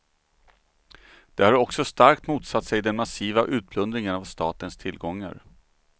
De har också starkt motsatt sig den massiva utplundringen av statens tillgångar.